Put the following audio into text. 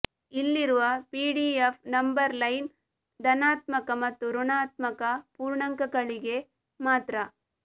ಇಲ್ಲಿರುವ PDF number line ಧನಾತ್ಮಕ ಮತ್ತು ಋಣಾತ್ಮಕ ಪೂರ್ಣಾಂಕಗಳಿಗೆ ಮಾತ್ರ